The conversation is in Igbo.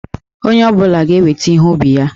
Onye ọ bụla ga-eweta ihe ubi ha.